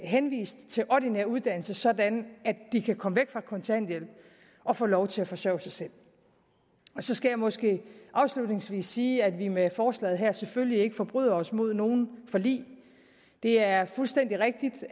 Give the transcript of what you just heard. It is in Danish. henvist til ordinær uddannelse sådan at de kan komme væk fra kontanthjælp og få lov til at forsøge sig selv så skal jeg måske afslutningsvis sige at vi med forslaget her selvfølgelig ikke forbryder os mod nogen forlig det er fuldstændig rigtigt